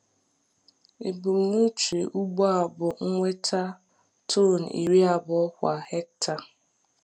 Ebumnuche ugbo a bụ inweta tọn iri abụọ kwa hekta.